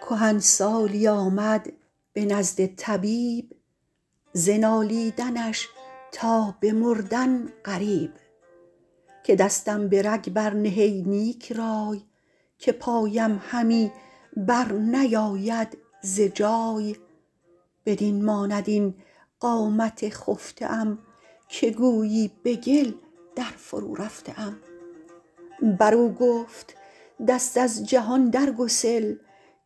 کهنسالی آمد به نزد طبیب ز نالیدنش تا به مردن قریب که دستم به رگ بر نه ای نیک رای که پایم همی بر نیاید ز جای بدین ماند این قامت خفته ام که گویی به گل در فرو رفته ام برو گفت دست از جهان در گسل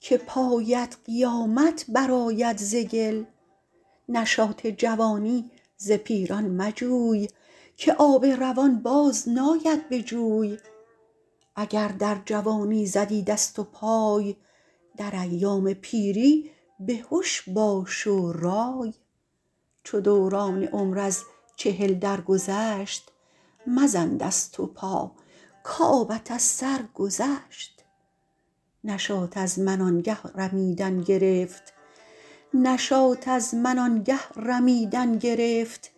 که پایت قیامت برآید ز گل نشاط جوانی ز پیران مجوی که آب روان باز ناید به جوی اگر در جوانی زدی دست و پای در ایام پیری بهش باش و رای چو دوران عمر از چهل درگذشت مزن دست و پا کآبت از سر گذشت نشاط از من آن گه رمیدن گرفت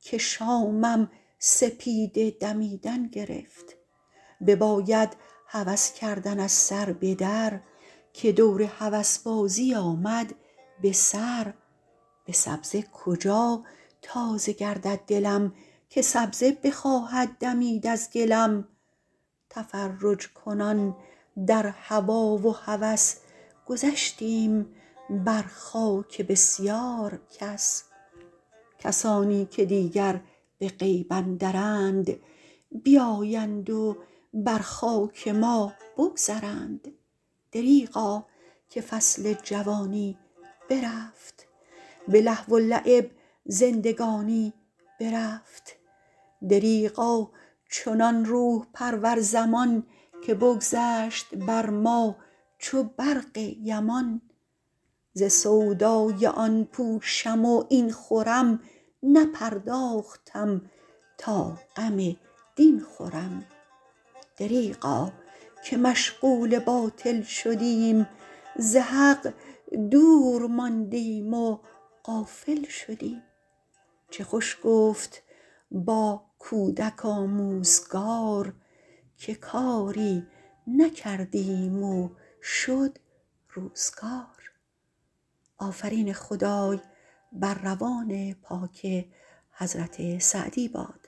که شامم سپیده دمیدن گرفت بباید هوس کردن از سر به در که دور هوسبازی آمد به سر به سبزه کجا تازه گردد دلم که سبزه بخواهد دمید از گلم تفرج ‎کنان در هوا و هوس گذشتیم بر خاک بسیار کس کسانی که دیگر به غیب اندرند بیایند و بر خاک ما بگذرند دریغا که فصل جوانی برفت به لهو و لعب زندگانی برفت دریغا چنان روح ‎پرور زمان که بگذشت بر ما چو برق یمان ز سودای آن پوشم و این خورم نپرداختم تا غم دین خورم دریغا که مشغول باطل شدیم ز حق دور ماندیم و غافل شدیم چه خوش گفت با کودک آموزگار که کاری نکردیم و شد روزگار